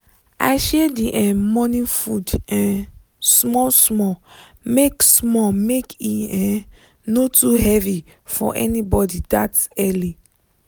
i share the um morning food um small small make small make e um no too heavy for anybody that early.